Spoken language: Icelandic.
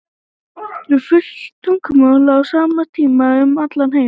er fullt tungl á sama tíma um allan heim